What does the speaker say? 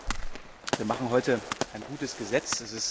Ich glaube, wir machen heute ein gutes Gesetz.